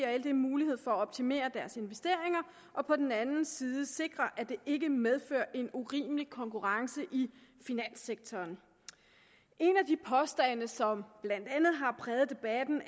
og ld mulighed for at optimere deres investeringer og på den anden side sikrer at det ikke medfører en urimelig konkurrence i finanssektoren en af de påstande som blandt andet har præget debatten